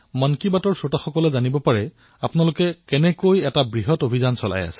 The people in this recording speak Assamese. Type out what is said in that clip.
যাতে মন কী বাতৰ যিসকল শ্ৰোতা আছে তেওঁলোকেও আপোনালোকৰ অভিযানটোৰ বিষয়ে জানিবলৈ পাৰিব